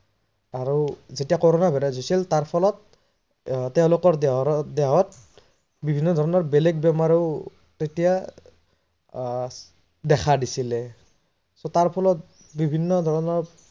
আৰু যেতিয়া corona virus হৈছিল তাৰ ফলত আহ তেওলোকৰ দেহত বিভিন্ন ধৰনৰ বেলেগ বেমাৰেও তেতিয়া আহ দেখা দিছিলে তাৰ ফলত বিভিন্ন ধৰনৰ